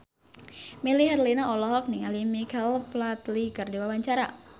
Melly Herlina olohok ningali Michael Flatley keur diwawancara